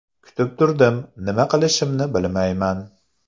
Kutib turdim, nima qilishimni bilmayman.